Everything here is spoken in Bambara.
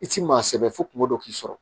I ti maa sɛbɛ fo kungo dɔ k'i sɔrɔ